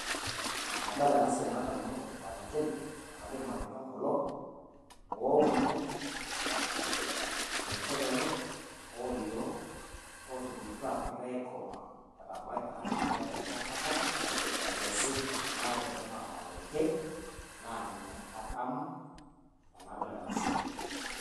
enadool enasiaii nadamu ilmalenken amu kaajo ilmalenke kulo owuuno ninje lelo olioo otubulutua negira aikomaa etaa kejoo pebaya enkata nakesi neaku woore ele naa olmalenke na ninye adamu enadol enasiai